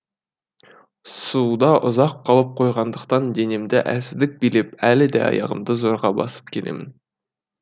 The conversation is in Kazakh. суда ұзақ қалып қойғандықтан денемді әлсіздік билеп әлі де аяғымды зорға басып келемін